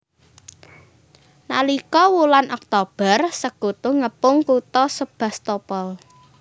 Nalika wulan Oktober Sekutu ngepung Kutha Sebastopol